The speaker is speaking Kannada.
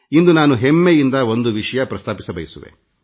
ಇಂದು ನಾನು ಹೆಮ್ಮೆಯಿಂದ ಒಂದು ವಿಷಯ ಪ್ರಸ್ತಾಪಿಸಬಯಸುವೆ